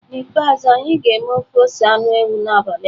N'ikpeazụ, anyị ga-eme ofe ose anụ ewu n'abalị a.